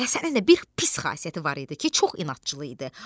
Həsənin də bir pis xasiyyəti var idi ki, çox inadcıl idi.